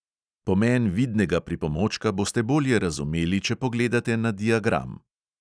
Pomen vidnega pripomočka boste bolje razumeli, če pogledate na diagram.